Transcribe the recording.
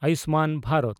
Ayushman Bharat